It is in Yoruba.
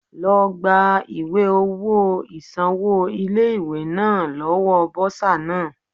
Lọ gba ìwé owó ìsanwó ilé ìwé náà lọ́wọ́ Bọ́sà náà.